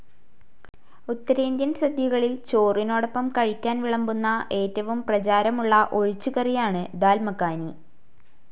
ഉത്തരേന്ധ്യൻ സാധ്യകളിൽ ചോറിനോടൊപ്പം കഴിക്കാൻ വിളംബന്ന ഏറ്റവും പ്രചാരമുല്ല ഒഴിച്ച്കറിയാണ് ദാൽ മഖാനി.